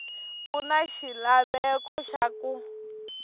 ku na xilaveko xa ku